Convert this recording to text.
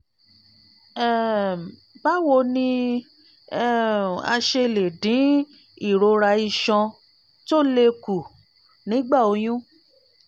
um báwo ni um a ṣe lè dín ìrora iṣan tó le kù nígbà oyún?